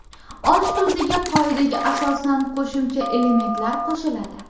Osh tuziga qoidaga asosan qo‘shimcha elementlar qo‘shiladi.